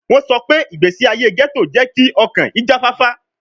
Wọn sọ pe igbesi aye ghetto jẹ ki ọkan ijafafa